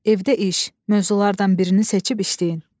Evdə iş, mövzulardan birini seçib işləyin.